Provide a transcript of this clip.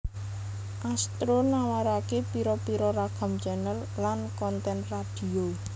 Astro nawaraké pira pira ragam channel lan konten radio